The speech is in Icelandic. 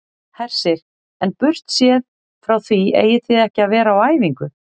Hersir: En burtséð frá því eigið þið ekki að vera á æfingu?